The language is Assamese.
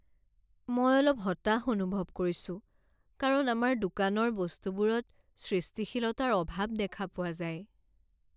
মই অলপ হতাশ অনুভৱ কৰিছোঁ কাৰণ আমাৰ দোকানৰ বস্তুবোৰত সৃষ্টিশীলতাৰ অভাৱ দেখা পোৱা যায়।